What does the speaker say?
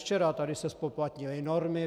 Včera se tady zpoplatnily normy.